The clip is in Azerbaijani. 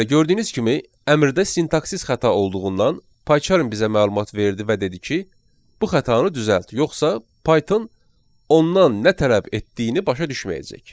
Bəli, gördüyünüz kimi əmrdə sintaksiz xəta olduğundan PyCharm bizə məlumat verdi və dedi ki, bu xətanı düzəlt, yoxsa Python ondan nə tələb etdiyini başa düşməyəcək.